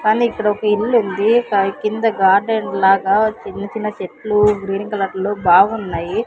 కానీ ఇక్కడ ఒక ఇల్లు ఉంది దాని కింద గార్డెన్ లాగా చిన్న చిన్న చెట్లు గ్రీన్ కలర్ లో బాగున్నాయి.